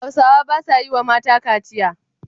Hausawa ba sa yi wa mata kaciya.